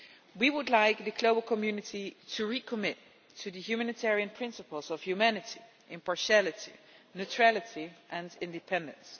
We would like the global community to recommit to the humanitarian principles of humanity, impartiality, neutrality and independence.